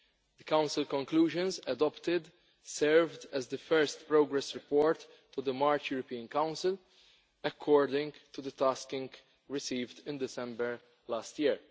The Council conclusions adopted served as the first progress report to the March European Council according to the tasking received in December last year.